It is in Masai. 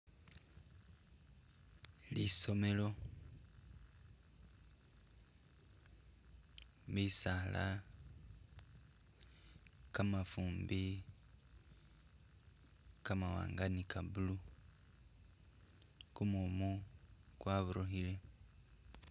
Lisomelo, misaala , kamafumbi kamawanga ni ka'blue kumumu kwaburukhile